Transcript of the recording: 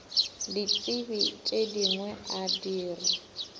ditsebi tše dingwe a dira